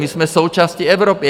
My jsme součástí Evropy.